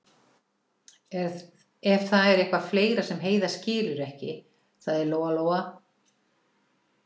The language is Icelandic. Ef það er eitthvað fleira sem Heiða skilur ekki, sagði Lóa-Lóa.